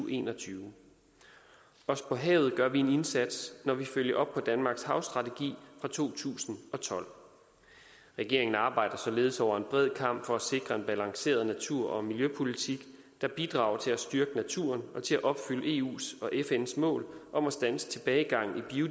og en og tyve også på havet gør vi en indsats når vi følger op på danmarks havstrategi fra to tusind og tolv regeringen arbejder således over en bred kam for at sikre en balanceret natur og miljøpolitik der bidrager til at styrke naturen og til at opfylde eus og fns mål om at standse tilbagegangen